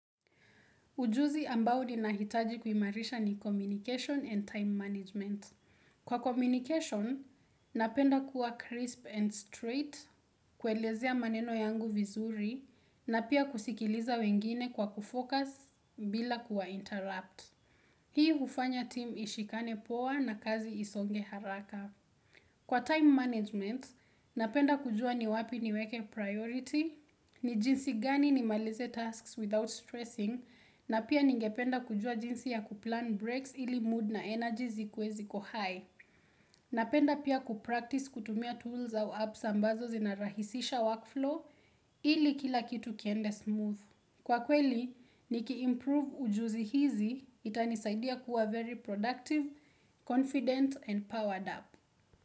Ujuzi ambao ninahitaji kuimarisha ni 'communication and time management.' Kwa communication, napenda kuwa crisp and straight, kwelezea maneno yangu vizuri, na pia kusikiliza wengine kwa kufocus bila kuwa interrupt. Hii ufanya team ishikane poa na kazi isonge haraka. Kwa time management, napenda kujua ni wapi niweke priority, ni jinsi gani ni malize tasks without stressing, na pia ningependa kujua jinsi ya kuplan breaks ili mood na energies zikue ziko high Napenda pia kupractice kutumia tools au apps ambazo zinarahisisha workflow ili kila kitu kiende smooth. Kwa kweli, niki improve ujuzi hizi itanisaidia kuwa very productive, confident and powered up.